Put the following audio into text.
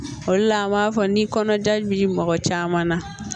O le la an b'a fɔ ni kɔnɔja bi mɔgɔ caman na